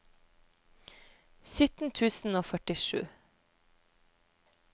sytten tusen og førtisju